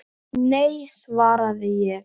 Nei, svaraði ég.